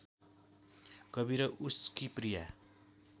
कवि र उसकी प्रिया